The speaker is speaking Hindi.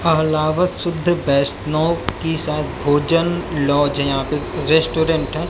शुद्ध वैष्णव की शायद भोजन लॉज है यहां पे रेस्टोरेंट हैं।